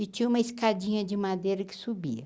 E tinha uma escadinha de madeira que subia.